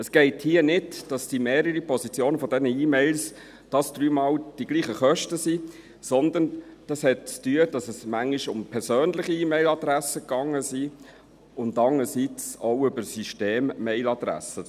Es geht nicht, dass diese mehrere Positionen dieser E-Mails dreimal die gleichen Kosten sind, sondern es hat damit zu tun, dass es manchmal zum einen um persönliche E-Mailadressen ging und zum andern auch um die Systemmailadresse.